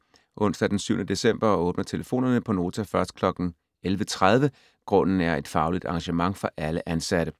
Onsdag den 7. december åbner telefonerne på Nota først kl. 11.30. Grunden er et fagligt arrangement for alle ansatte.